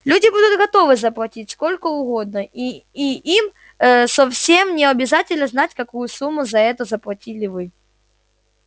люди будут готовы заплатить сколько угодно и и им совсем ээ не обязательно знать какую сумму за это заплатили вы